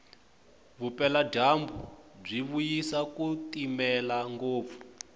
vupela jambu bwivuyisa kutimela ngopfu